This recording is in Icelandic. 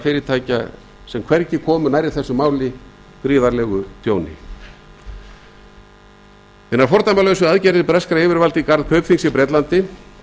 fyrirtækja sem hvergi komu nærri þessu máli gríðarlegu tjóni hinar fordæmalausu aðgerðir breskra yfirvalda í garð kaupþings í bretlandi